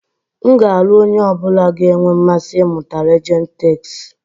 M ga-alụ onye ọ bụla ga-enwe mmasị ịmụta Legend Takes.